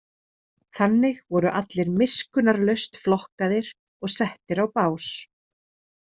Þannig voru allir miskunnarlaust flokkaðir og settir á bás.